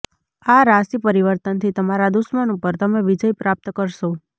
આ રાશિ પરિવર્તનથી તમારા દુશ્મન ઉપર તમે વિજય પ્રાપ્ત કરશો